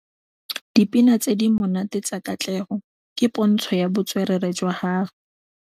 Dipina tse di monate tsa Katlego ke pôntshô ya botswerere jwa gagwe.